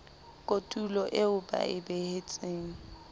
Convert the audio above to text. kotulo eo ba e behetsweng